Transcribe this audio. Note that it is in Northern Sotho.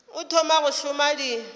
o thoma go šoma di